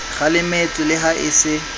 kgalemetswe le ha e se